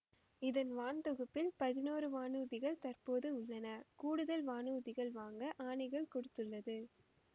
இதன் வான்தொகுப்பில் பதினொன்று வானூர்திகள் தற்போது உள்ளன கூடுதல் வானூர்திகள் வாங்க ஆணைகள் கொடுத்துள்ளது